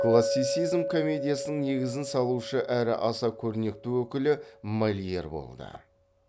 классицизм комедиясының негізін салушы әрі аса көрнекті өкілі мольер болды